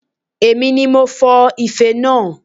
Èmi ni mo fọ ife naa